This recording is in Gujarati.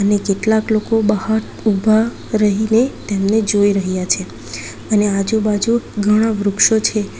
ને કેટલાક લોકો બહાર ઉભા રહીને જોઈ રહ્યા છે અને આજુ-બાજુ ઘણા વૃક્ષો છે.